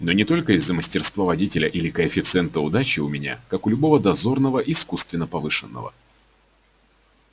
но не только из-за мастерства водителя или коэффициента удачи у меня как у любого дозорного искусственно повышенного